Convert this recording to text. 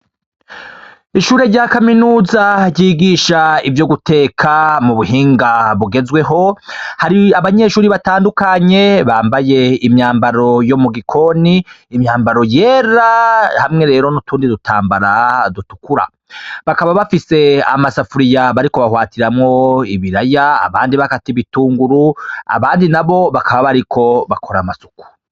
Ishure rya kaminuza ryigisha ivyo guteka mu buhinga bugezweho hari abanyeshuri batandukanye bambaye imyambaro yo mu gikoni imyambaro yera hamwe rero n'utundi dutambara dutukura bakaba bafise amasafuriya bariko bahwatiramwoa bilaya abandi bakati bitunguru abandi na bo bakaba bariko bakora amasuku.